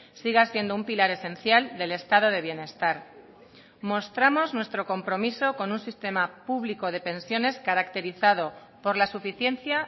siga siendo un pilar esencial del estado de bienestar mostramos nuestro compromiso con un sistema público de pensiones caracterizado por la suficiencia